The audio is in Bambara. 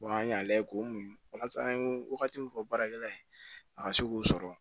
an y'a lajɛ k'o mun ka an ye wagati min fɔ baarakɛla ye a ka se k'o sɔrɔ